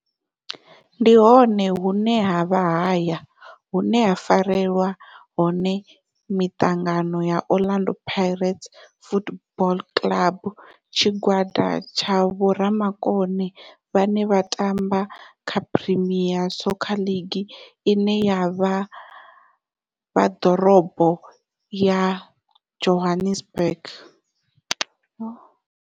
Ndi hone hune havha haya hune ha farelwa hone mitangano ya Orlando Pirates Football Club. Tshigwada tsha vhomakone vhane vha tamba kha Premier Soccer League ine ya vha Dorobo ya Johannesburg.